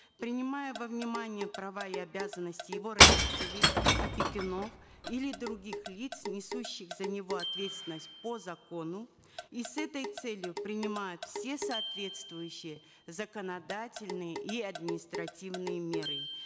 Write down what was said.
принимая во внимание права и обязанности его родителей опекунов или других лиц несущих за него ответственность по закону и с этой целью принимать все соответствующие законодательные и административные меры